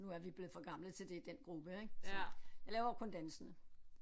Nu er vi blevet for gamle til det i den gruppe ik så jeg laver kun dansene